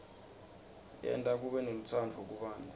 yenta kube nelutsandvo kubantfu